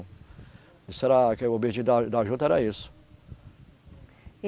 Isso era que o objetivo da da juta era isso. e